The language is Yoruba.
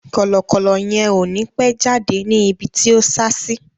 Kọ̀lọ̀kọ̀lọ yẹn ò ni pẹ́ jáde ní ibi tí o sá sí